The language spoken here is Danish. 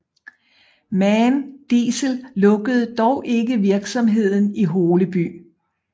MAN Diesel lukkede dog ikke virksomheden i Holeby